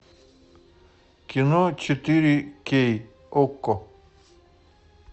кино четыре кей окко